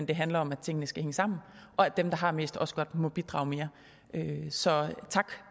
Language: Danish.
det handler om at tingene skal hænge sammen og at dem der har mest også godt må bidrage mere så tak